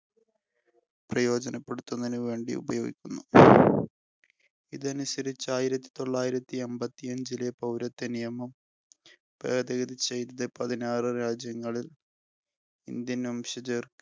പ്രയോജനപ്പെടുത്തുന്നുന്നതിനു വേണ്ടി ഉപയോഗിക്കുന്നു. ഇതനുസരിച്ചു ആയിരത്തിത്തൊള്ളായിരത്തി അമ്പത്തി അഞ്ചിലെ പൗരത്വനിയമം ഭേദഗതി ചെയ്‌തത്‌ പതിനാറു രാജ്യങ്ങളിൽ Indian വംശജർ